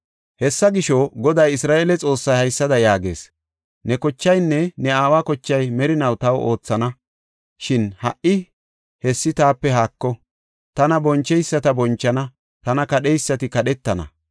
“Hessa gisho, Goday, Isra7eele Xoossay haysada yaagees. Ne kochaynne ne aawa kochay merinaw taw oothana. Shin ha77i hessi taape haako; tana boncheyisata bonchana; tana kadheysati kadhetana.